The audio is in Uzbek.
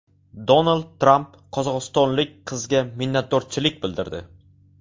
Donald Tramp qozog‘istonlik qizga minnatdorchilik bildirdi.